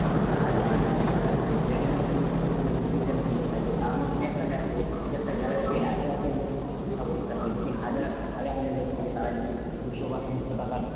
হয়তো হাজার, দুহাজার, তিনহাজার এরকম কিন্তু ও ticket এর মূল্য থাকে. তাহলে তুমি একটা দেখো যে একটা gallary তে এত এত লোক সংখ্যা বসথাকে. যদি হাজার, হাজার হাজার লোক থাকে তারাই যদি দুশো বা তিনশো টাকার